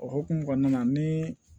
O hokumu kɔnɔna na ni